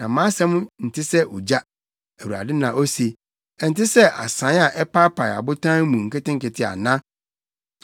“Na mʼasɛm nte sɛ ogya,” Awurade na ose, “ɛnte sɛ asae a ɛpaapae ɔbotan mu nketenkete ana?